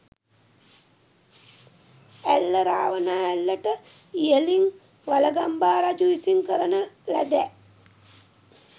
ඇල්ල රාවනා ඇල්ලට ඉහළින් වළගම්බා රජු විසින් කරන ලදැ